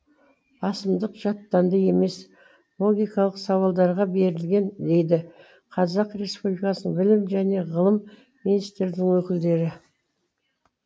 басымдық жаттанды емес логикалық сауалдарға берілген дейді қазақ республикасы білім және ғылым министрлігінің өкілдері